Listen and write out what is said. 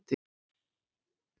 Úti á vellinum stóð